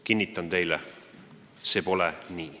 Kinnitan teile: see pole nii.